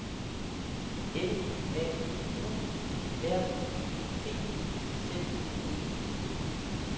L A U R I T Z E N